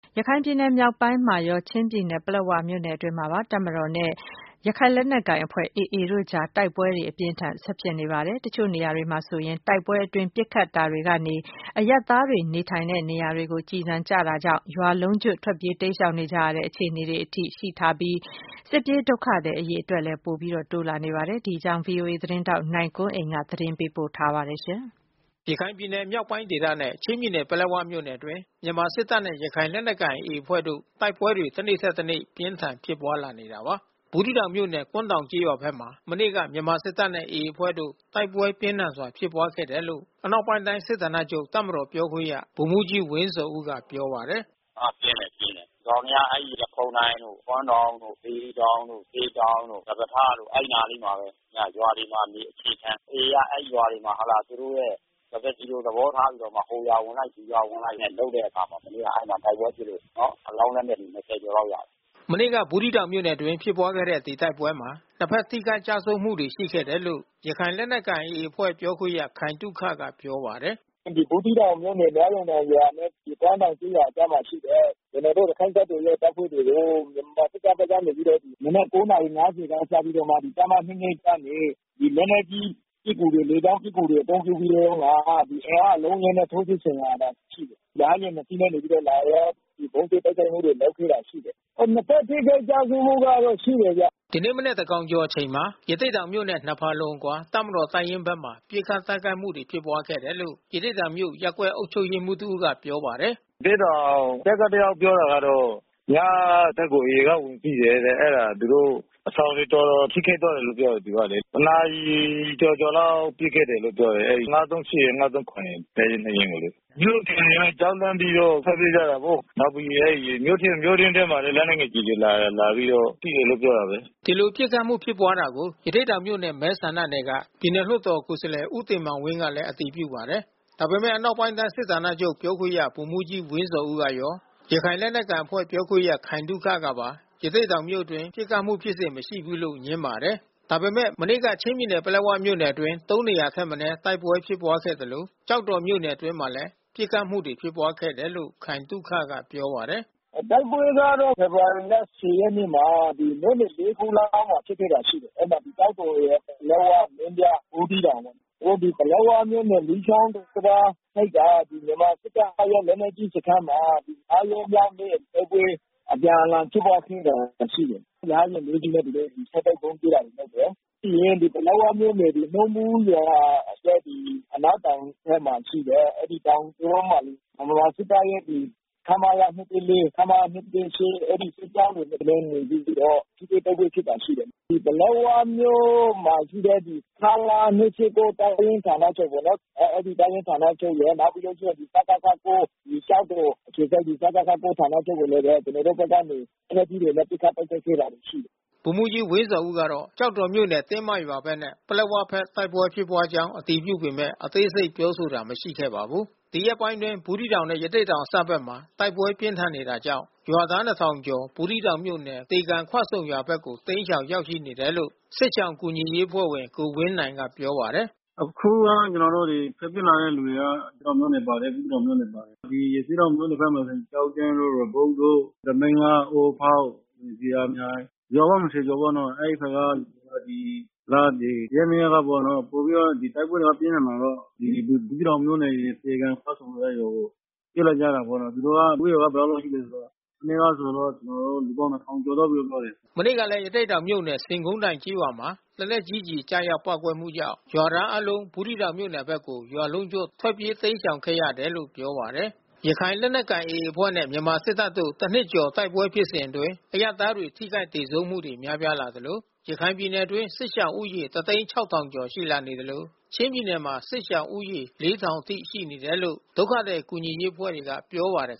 ရခိုင်ပြည်နယ်မြောက်ပိုင်းမှာရော ချင်းပြည်နယ် ပလက်ဝမြို့နယ်တွင်းမှာပါ တပ်မတော်နဲ့ ရခိုင်လက်နက်ကိုင်အဖွဲ့ AA တို့အကြား တိုက်ပွဲတွေ အပြင်းအထန် ဆက်ဖြစ်နေပါတယ်။ တချို့နေရာတွေမှာဆိုရင် တိုက်ပွဲအတွင်း ပစ်ခတ်တာတွေကနေ အရပ်သားတွေ နေထိုင်တဲ့နေရာကို ကျည်ဆံကျတာကြောင့် ရွာလုံးကျွတ် ထွက်ပြေးတိမ်းရှောင်ကြတဲ့ အခြေအနေတွေထိ ရှိထားပြီး စစ်ပြေးဒုက္ခသည်အရေအတွက်က ပိုတိုးလာနေပါတယ်။ ဒီအကြောင်း ဗွီအိုအေသတင်းထောက် နိုင်ကွန်းအိမ်က သတင်းပေးပို့ ထားပါတယ်။ ရခိုင်ပြည်နယ်မြောက်ပိုင်းဒေသနဲ့ချင်းပြည်နယ် ပလက်ဝမြို့နယ်အတွင်း မြန်မာစစ်တပ်နဲ့ ရခိုင်လက်နက်ကိုင် AA အဖွဲ့တို့ တိုက်ပွဲတွေ တနေ့ထက်တနေ့ ပြင်းထန်ဖြစ်ပွားလာနေတာပါ။ ဘူးသီးတောင်မြို့နယ် ကွမ်းတောင်ကျေးရွာဘက်မှာ မနေ့က မြန်မာစစ်တပ်နဲ့ AA အဖွဲ့တို့ တိုက်ပွဲ ပြင်းထန်စွာဖြစ်ပွါးခဲ့တယ်လို့ ဗိုလ်မှူးကြီးဝင်းဇော်ဦးက ပြောပါတယ်။ “အော်ပြင်းတယ် ပြင်းတယ်။ ဒီကောင်တွေက အဲဒီရက်ခုန်းတိုင်တို့ ကွမ်းတောင်တို့ စေတီတောင်တို့၊ စေတောင်တို့၊ စပါးထားတို့ အဲဒီနားလေးမှာဘဲ ရွာတွေမှာပဲ အခြေခံ။ AA က အဲဒီရွာတွေမှာ သူတို့ရဲ့စပါးကျီလို သဘောထားပြီးတော့မှ ဟိုရွာဝင်လိုက် ဒီရွာ ဝင်လိုက်နဲ့လုပ်တဲ့အခါမှာ အဲဒီမှာ မနေ့က တိုက်ပွဲဖြစ်လို့ အလောင်း လက်နက်တွေ ၂၀ ကျော်လောက်ရတယ်။” မနေ့က ဘူးသီးတောင်မြို့နယ်အတွင်း ဖြစ်ပွားတဲ့ ဒီ တိုက်ပွဲမှာ နှစ်ဘက် ထိခိုက်ကျဆုံးမှုတွေ ရှိခဲ့တယ်လို့ ရခိုင်လက်နက်ကိုင် AA အဖွဲ့ ပြောခွင့်ရ ခိုင်သုခက ပြောပါတယ်။ “ဘူးသီးတောင်မြို့နယ် နွားရုံတောင်နဲ့ ကွမ်းတောင်ရွာအကြားမှာရှိတဲ့ ကျနော်တို့ ရခိုင့်တပ်တော်ရဲ့ တပ်ဖွဲ့တွေကို မြန်မာစစ်တပ်ဘက်ကနေပြီးတော့ မနက် ၉ နာရီ ၅၀ စပြီးတော့မှ တပ်မ ၂၂ ကနေ လက်နက်ကြီးပစ်ကူတွေ လေကြောင်းပစ်ကူတွေ အသုံးပြုပြီးတော့မှ အင်အား အလုံးအရင်းနဲ့ ထိုးစစ် ဆင်လာတာ ရှိတယ်။ ရဟတ်ယာဉ် ၂ စီးနဲ့လာပြီးတော့ ဗုံးကြဲတိုက်ခိုက်မှုတေ ွလုပ်ခဲ့တာရှိတယ်။ နှစ်ဘက် ထိခိုက်ကျဆုံးမှုကတော့ ရှိတယ်။” ဒီနေ့မနက်သန်းခေါင်ကျော်မှာ ရသေ့တောင်မြို့နဲ့ ၂ ဖါလုံအကွာ တပ်မတော်တပ်ရင်းဘက်မှာ ပစ်ခတ်တိုက်ခိုက်မှု ဖြစ်ပွားခဲ့တယ်လို့ ရသေ့တောင်မြို့ ရပ်ကွက်အုပ်ချုပ်ရေးမှူး တဦးက ပြောပါတယ်။ “ရသေ့တောင်တပ်က တယောက် ပြောတာကတော့ ညကတပ်ကို AA က ဝင်ပစ်တယ်တဲ့။ အဲတာ သူတို့အဆောင်တွေ တော်တော် ထိခိုက်သွားတယ်လို့တော့ပြောတယ် သူကလေ။ တနာရီကျော်ကျော်လောက် ပစ်ခဲ့တယ်လို့ပြောတယ်။ အဲဒီ ၅၃၈ ရယ်၊ ၅၃၇ ရယ်၊ တပ်ရင်း ၂ ရင်းကိုလေ။ မြို့ခံတွေ က ကြောက်လန့်ပြီးတော့ထွက်ပြေးကြတာပေါ့။ နောက်ပြီးမြို့တွင်းထဲမှာလဲ လက်နက်ငယ် ကျည်တွေ လာတယ်။” ဒီလို ပစ်ခတ်မှု ဖြစ်ပွားတာကို ရသေ့တောင်မြို့နယ် မဲဆန္ဒနယ်က ပြည်နယ်လွှတ်တေ် ကိုယ်စားလှယ်ဦးတင်မောင်းဝင်းကလည်း အတည်ပြုပါတယ်။ ဒါပေမဲ့ အနောက်ပိုင်းတိုင်း စစ်ဌာနချုပ် တပ်မတော်ပြေခွင့်ရ ဗိုလ်မှူးကြီးဝင်းဇော်ဦးကရော ရခိုင်လက်နက်ကိုင်အဖွဲ့ပြောခွင့်ရ ခိုင်သုခကပါ ရသေ့တောင်မြို့အတွင်း ပစ်ခတ်မှုဖြစ်စဉ် မရှိဘူးလို့ ငြင်းပါတယ်။ ဒါပေမဲ့ မနေ့က ချင်းပြည်နယ် ပလက်ဝမြို့နယ် အတွင်း ၃ နေရာထက် မနည်း တိုက်ပွဲ ဖြစ်ပွားခဲ့သလို့ ကျောက်တော်မြို့နယ်အတွင်း မှာလည်း ပစ်ခတ်မှုတွေ ဖြစ်ပွား ခဲ့တယ်လို့ ခိုင်သုခက ပြောပါတယ်။ “တိုက်ပွဲကတော့ ဖေဖေါ်ဝါရီလ ၁၀ ရက်နေ့မှာ မြို့နယ် ၄ ခုလောက်မှာ ဖြစ်ခဲ့တာ ရှိတယ်။ အဲဒီမှာ ကျောက်တော်၊ ပလက်ဝ၊ မင်းပြား၊ ဘူးသီးတောင်ပေါ့။ ပလက်ဝမြို့နယ် မီးချောင်းတံတားဘက်က မြန်မာစစ်တပ်ရဲ့လက်နက်ကြီးစခန်းမှာ ၅ ရက်မြောက်နေ့ တိုက်ပွဲအပြန်အလှန်ဖြစ်ခဲ့တာ ရှိတယ်။ ရဟတ်ယာဉ် ၄ စီးနဲ့ သူတို့ဆက်တိုက်ဗုံးကြဲတာ လုပ်တယ်။ ပြီးရင်ပလက်ဝမြို့နယ် နှုန်းဘူးရွာရဲ့ အနောက်တောင်ဘက်မှာရှိတဲ့ အဲဒီတောင်ကြောမှာ ဗမာစစ်တပ်ရဲ့ခမရ ၂၁၄၊ ခမရ ၂၁၈ အဲဒီ စစ်ကြောင်းတွေနဲ့ နေပြီးတော့ ထိတွေ့တိုက်ပွဲဖြစ်တာရှိတယ်။ ပလက်ဝမြို့မှာရှိတဲ့ ခမရ ၂၁၉ တပ်ရင်း ဌာနချုပ်ပေါ့နော်။ အဲဒီတပ်ရင်းဌာနချုပ်ရယ် စကခ ၉ ကျောက်တော်အခြေစိုက်ဌာနချုပ်ကိုလည်းပဲ ကျနော်တို့ဘက်က လက်နက်ကြီးတွေနဲ့ ပစ်ခတ်တိုက်ခိုက်ခဲ့တာ ရှိတယ်။” ဗိုလ်မှူးကြီးဝင်းဇော်ဦးကတော့ ကျောက်တော်၊ တင်းမရွာဘက်နဲ့ပလက်ဝဘက် တိုက်ပွဲဖြစ်ပွါးကြောင်း အတည်ပြုပေမဲ့ အသေးစိတ် ပြောဆိုတာ မရှိခဲ့ပါဘူး။ ဒီရက်ပိုင်းအတွင်း ဘူးသီးတောင်နဲ့ရသေ့တောင်အစပ်ဘက်မှာ တိုက်ပွဲ ပြင်းထန်နေတာကြောင့် ရွာသား ၂,၀၀၀ ကျော် ဘူးသီးတောင်မြို့နယ် တေကန်ခွဆုံရွာဘက်ကို တိမ်းရှောင်ရောက်ရှိနေတယ်လို့ စစ်ရှောင်ကူညီရေး အဖွဲ့ဝင် ကိုဝင်းနိုင်က ပြောပါတယ်။ “အခုက ကျနော်တို့ထွက်ပြေးလာတဲ့လူတွေက ရသေ့တောင်မြို့နယ် ပါတယ်။ ဘူးသီးတောင်မြို့နယ် ပါတယ်။ ရသေ့တောင်မြို့ နယ် ထဲမှာဆိုင် ကျောက်တန်းတို့ ရေပုတ်တို့ သမီးလှ၊ အိုးဖေါက် ဇေယျာမြိုင် ရွာပေါင်း ၂၀ ကျော်ပေါ့နော်။ ဒီလ ဒီရက် ၂ ရက်ကပေါ့နော် တိုက်ပွဲကတော့ပိုပြီးတော့ပြင်းထန်တာပေါ့။ ဘူးသီးတောင်မြို့နယ် သေကန်ခွဆုံဘက်ကို ပြေးလာကြတာပေါ့နော်။ သူတို့ကလူဦးရေ ဘယ်လောက် လောက် ရှိတယ်ဆိုရင် မနေ့ကဆိုတော့ ကျွန်တော်တို့ လူပေါင်း ၂၀၀၀ လောက် ဝင်သွားတယ်။” မနေ့ကလည်း ရသေ့တောင်မြို့နယ် ဆင်ခုံးတိုင်ကျေးရွာမှာ လက်နက်ကြီးကျည် ကျရောက်ပေါက်ကွဲမှုကြောင့် ရွာသားတွေအားလုံး ဘူးသီးတောင်မြို့နယ်ဘက်ကို ရွာလုံးကျွတ် ထွက်ပြေးတိမ်းရှောင်ခဲ့ရတယ်လို့ ပြောပါတယ်။ ရခိုင်လက်နက်ကိုင် AA အဖွဲ့နဲ့မြန်မာစစ်တပ်တို့ တနှစ်ကျော် တိုက်ပွဲဖြစ်စဉ်အတွင်းမှာ အရပ်သားတွေ ထိခိုက်သေဆုံးမှုတွေ များပြားလာသလို ရခိုင်ပြည်နယ် အတွင်း စစ်ရှောင်ဦးရေ ၁၀၆,၀၀၀ ကျော် ရှိလာနေသလို ချင်းပြည်နယ်မှာ စစ်ရှောင်ဦးရေ ၄,၀၀၀ အထိ ရှိနေတယ်လို့ ဒုက္ခသည် ကူညီရေးအဖွဲ့တွေက ပြောပါတယ်